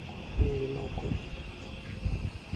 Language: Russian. юрий малков